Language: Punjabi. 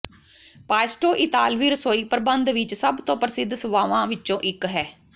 ਪਾਇਸਟੋ ਇਤਾਲਵੀ ਰਸੋਈ ਪ੍ਰਬੰਧ ਵਿੱਚ ਸਭਤੋਂ ਪ੍ਰਸਿੱਧ ਸਵਾਵਾਂ ਵਿੱਚੋਂ ਇੱਕ ਹੈ